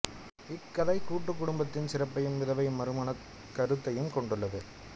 இக்கதை கூட்டுக் குடும்பத்தின் சிறப்பையும் விதவை மறுமணக் கருத்தையும் கொண்டுள்ளது